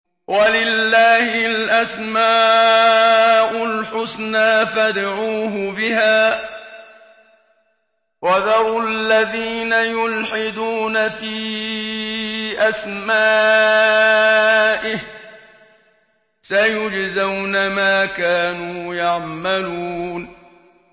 وَلِلَّهِ الْأَسْمَاءُ الْحُسْنَىٰ فَادْعُوهُ بِهَا ۖ وَذَرُوا الَّذِينَ يُلْحِدُونَ فِي أَسْمَائِهِ ۚ سَيُجْزَوْنَ مَا كَانُوا يَعْمَلُونَ